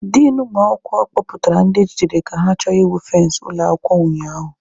Din ụmụ akwụkwọ kpọpụtara ndị e jidere ka ha chọrọ ịwụ fensị ụlọ akwụkwọ ụnyaahụ.